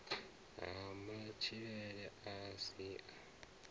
ha matshilele a si a